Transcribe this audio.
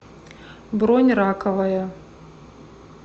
бронь раковая